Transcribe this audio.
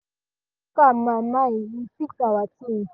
i talk am my mind we fix our ting